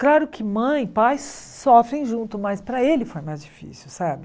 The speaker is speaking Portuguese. Claro que mãe e pai sofrem junto, mas para ele foi mais difícil, sabe?